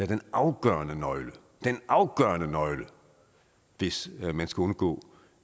den afgørende nøgle den afgørende nøgle hvis man skal undgå